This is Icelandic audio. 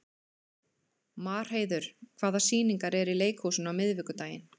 Marheiður, hvaða sýningar eru í leikhúsinu á miðvikudaginn?